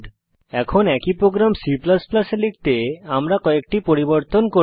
এখন একই program C এ লিখতে আমরা কয়েকটি পরিবর্তন করি